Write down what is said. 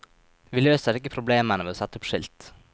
Vi løser ikke problemene ved å sette opp skilt.